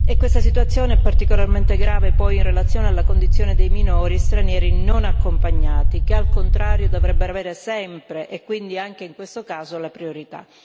Questa situazione è particolarmente grave, poi, in relazione alla condizione dei minori stranieri non accompagnati che, al contrario, dovrebbero avere sempre, e quindi anche in questo caso, la priorità.